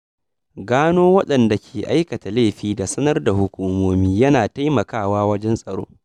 Gano wadanda ke aikata laifi da sanar da hukumomi yana taimakawa wajen tsaro.